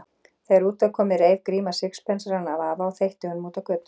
Þegar út var komið reif Gríma sixpensarann af afa og þveitti honum út á götu.